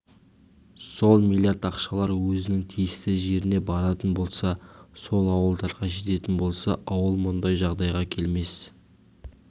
сол млрд ақшалар өзінің тиісті жеріне баратын болса сол ауылдарға жететін болса ауыл мұндай жағдайға келмес